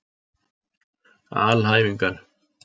alhæfingar